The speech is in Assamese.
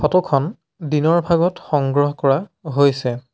ফটো খন দিনৰ ভাগত সংগ্ৰহ কৰা হৈছে।